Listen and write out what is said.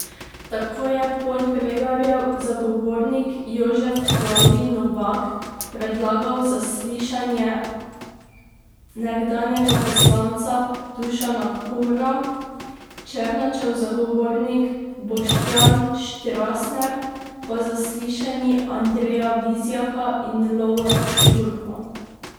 Tako je Podbregarjev zagovornik Jožef Klavdij Novak predlagal zaslišanje nekdanjega poslanca Dušana Kumra, Černačev zagovornik Boštjan Štrasner pa zaslišanji Andreja Vizjaka in Lovra Šturma.